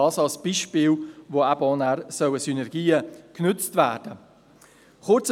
Dies als Beispiel, wo Synergien genutzt werden sollen.